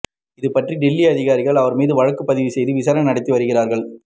இதுபற்றி டெல்லி அதிகாரிகள் அவர் மீது வழக்குப் பதிவு செய்து விசாரணை நடத்தி வருகிறார்கள்